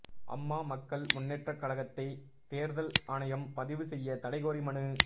அம்மா மக்கள் முன்னேற்றக் கழகத்தைதோ்தல் ஆணையம் பதிவு செய்ய தடை கோரி மனு